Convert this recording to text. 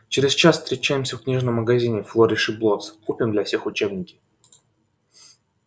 через час встречаемся в книжном магазине флориш и блоттс купим для всех учебники